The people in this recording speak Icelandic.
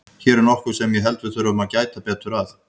Hér er nokkuð sem ég held að við þurfum að gæta betur að.